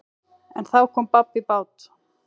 En þá kom babb í bát.